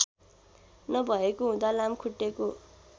नभएको हुँदा लामखुट्टेको